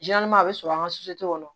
a bɛ sɔrɔ an ka kɔnɔ